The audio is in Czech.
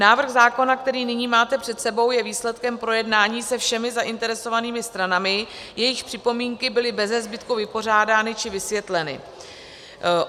Návrh zákona, který nyní máte před sebou, je výsledkem projednání se všemi zainteresovanými stranami, jejichž připomínky byly beze zbytku vypořádány či vysvětleny.